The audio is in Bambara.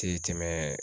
Tɛ tɛmɛ